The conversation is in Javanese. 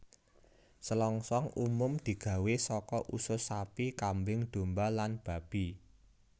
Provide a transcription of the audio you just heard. Selongsong umum digawé saka usus sapi kambing domba lan babi